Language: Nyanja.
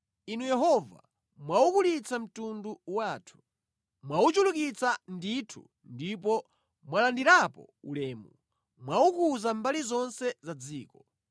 Inu Yehova, mwaukulitsa mtundu wathu; mwauchulukitsa ndithu ndipo mwalandirapo ulemu; mwaukuza mbali zonse za dziko.